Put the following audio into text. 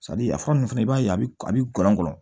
a fura ninnu fana i b'a ye a bɛ a bɛ gɔnɔn